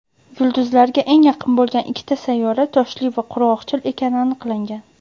yulduzga eng yaqin bo‘lgan ikkita sayyora toshli va qurg‘oqchil ekani aniqlangan.